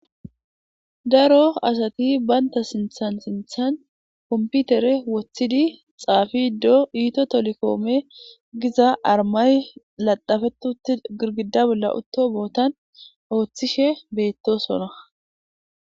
Daro asati bantha sinthan sinthan kompitere wotidi xafide ithio telekom giza armayi laxafetiutida girgida bollan utto bothan otishe betosona